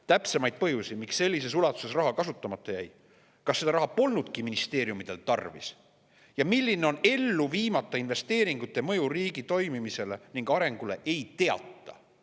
"Täpsemaid põhjusi, miks sellises ulatuses raha kasutamata jäi, kas seda raha polnudki ministeeriumidel tarvis ja milline on ellu viimata investeeringute mõju riigi toimimisele ning arengule, ei teata.